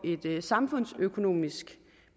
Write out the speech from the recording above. et samfundsøkonomisk